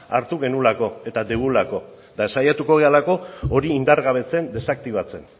hartu genuelako eta dugulako eta saiatuko garelako hori indargabetzen desaktibatzen